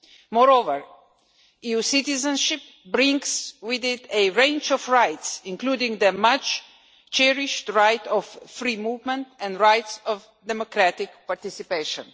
Moreover, EU citizenship brings with it a range of rights, including the much cherished right of free movement and rights of democratic participation.